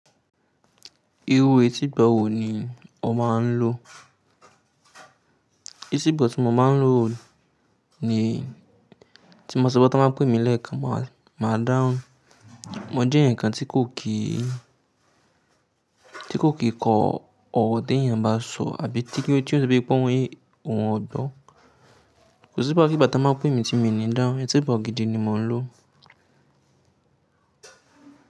Irú etígbo wọ̀ ní ọ máa ń lò? Etígbo tí mo máa ń lò ní, tí mo sọ pé tan ba pè mí lẹ́ẹ̀kan máa, máa dáhùn. Mo jẹ́ eeyaǹ kan tí kò kìí, tí kò kì í kọ ọ́rọ̀ tí èèyàn bá sọ àbí tí kí ó ti so wípé kọ yé òun ọ̀ gbọ́. Kò sí gbá ki gbá tan ba pè mí tí mi ní dáhùn, etígbò gidi ni mo ń lò.